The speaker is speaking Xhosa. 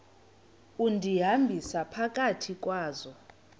undihambisa phakathi kwazo